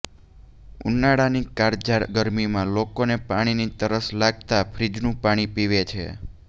ઉનાળાની કાળઝાળ ગરમીમાં લોકોને પાણીની તરસ લાગતા ફ્રીઝનું પાણી પીવે છે